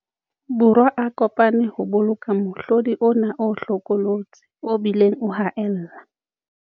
Borwa a ko pane ho boloka mohlodi ona o hlokolotsi o bileng o haella.